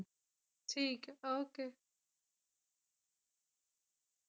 ਠੀਕ ਐ okay